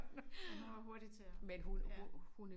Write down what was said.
Men hun var hurtig til at ja